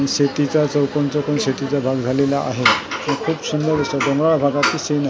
शेतीचा चौकोन चौकोन शेतीचा भाग झालेला आहे अ खूप सुंदर दिसतात डोंगराळ भागातील सीन आहे .